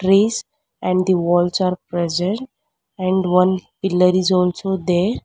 trees and the walls are present and one pillar is also there.